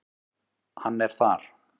Hann er þar.